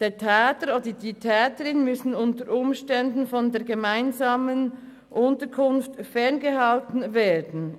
Der Täter oder die Täterin muss unter Umständen von der gemeinsamen Unterkunft ferngehalten werden.